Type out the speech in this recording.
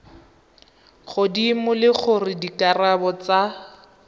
godimo le gore dikarabo tsa